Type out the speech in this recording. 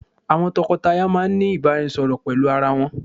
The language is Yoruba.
Àwọn tòkó-tàyá máà ní ìbáraẹnisọ̀rọ̀ pẹlú arà wọn